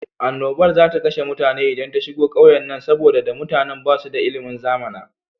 Annobar za ta kashe mutane idan ta shigo ƙauyennan, saboda da mutanan ba su da ilimin zamana.